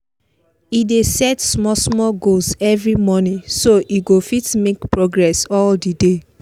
e dey set small small goals every morning so e go fit make progress all the day